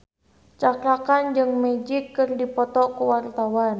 Cakra Khan jeung Magic keur dipoto ku wartawan